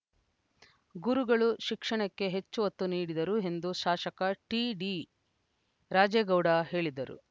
ಗುರುಗಳು ಶಿಕ್ಷಣಕ್ಕೆ ಹೆಚ್ಚು ಒತ್ತು ನೀಡಿದ್ದರು ಎಂದು ಶಾಸಕ ಟಿಡಿರಾಜೇಗೌಡ ಹೇಳಿದರು